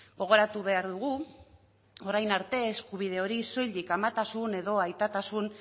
gogoratu behar dugu orain arte eskubide hori soilik amatasun edo aitatasun